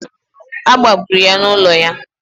A gbagburu ya n'ụlọ ya